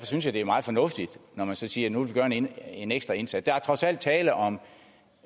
synes jeg det er meget fornuftigt når man siger nu vil gøre en en ekstra indsats der er trods alt tale om